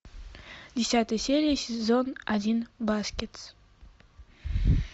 десятая серия сезон один баскетс